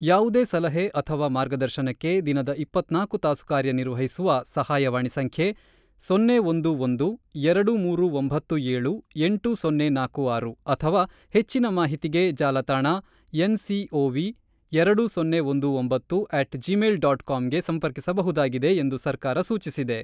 ಯಾವುದೇ ಸಲಹೆ ಅಥವಾ ಮಾರ್ಗದರ್ಶನಕ್ಕೆ ದಿನದ ಇಪ್ಪತ್ತ್ ನಾಲ್ಕು ತಾಸು ಕಾರ್ಯನಿರ್ವಹಿಸುವ ಸಹಾಯವಾಣಿ ಸಂಖ್ಯೆ ಸೊನ್ನೆ ಒಂದು ಒಂದು ಎರಡು ಮೂರು ಒಂಬತ್ತು ಏಳು ಎಂಟು ಸೊನ್ನೆ ನಾಲ್ಕು ಆರು ಅಥವಾ ಹೆಚ್ಚಿನ ಮಾಹಿತಿಗೆ ಜಾಲತಾಣ ಏನ್ ಸಿ ಓ ವಿ ಎರಡು ಸೊನ್ನೆ ಒಂದು ಒಂಬತ್ತು ಅಟ್ ಜಿಮೇಲ್ ಡಾಟ್ ಕಾಮ್ ಗೇ ಸಂಪರ್ಕಿಸಬಹುದಾಗಿದೆ ಎಂದು ಸರ್ಕಾರ ಸೂಚಿಸಿದೆ.